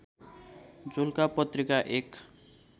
झुल्का पत्रिका एक